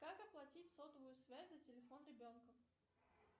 как оплатить сотовую связь за телефон ребенка